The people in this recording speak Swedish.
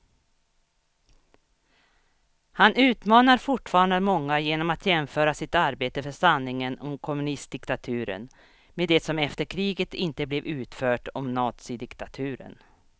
Han utmanar fortfarande många genom att jämföra sitt arbete för sanningen om kommunistdiktaturen med det som efter kriget inte blev utfört om nazidiktaturen.